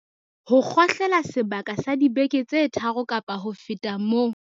Ho kgohlela sebaka sa dibeke tse tharo kapa ho feta moo.